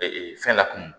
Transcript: fɛn lakun